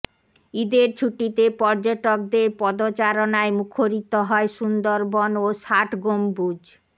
ঈদের ছুটিতে পর্যটকদের পদচারণায় মুখরিত হয় সুন্দরবন ও ষাটগম্বুজ